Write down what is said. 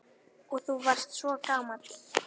Og þú varst svo gamall.